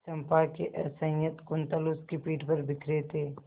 चंपा के असंयत कुंतल उसकी पीठ पर बिखरे थे